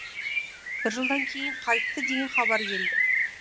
бір жылдан кейін қайтты деген хабар келді